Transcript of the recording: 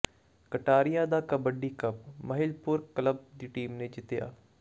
ਕਟਾਰੀਆਂ ਦਾ kabaddi cup Mahilpur club ਦੀ team ਨੇ ਜਿੱਤਿਆ